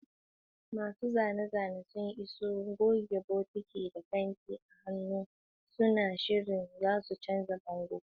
Masu zane-zane sun iso, goge, bokiti, da fenti a hannu, suna shirye su canza bango.